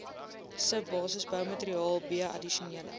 subbasisboumateriaal b addisionele